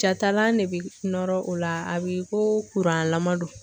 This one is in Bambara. Jatalan de bɛ nɔrɔ o la a bɛ i ko kuranlama don